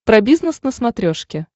про бизнес на смотрешке